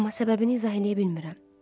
Amma səbəbini izah eləyə bilmirəm.